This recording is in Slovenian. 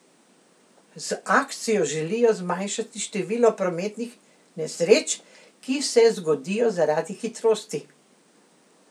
Z akcijo želijo zmanjšati število prometnih nesreč, ki se zgodijo zaradi hitrosti.